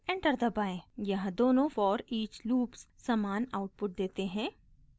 यहाँ दोनों foreach loops समान आउटपुट देते हैं